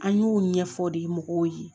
An y'o ɲɛfɔ de mɔgɔw ye